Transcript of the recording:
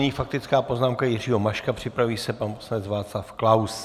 Nyní faktická poznámka Jiřího Maška, připraví se pan poslanec Václav Klaus.